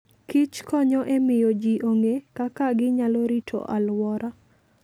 Kich konyo e miyo ji ong'e kaka ginyalo rito alwora.